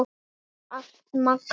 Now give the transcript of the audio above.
Takk fyrir allt Magga mín.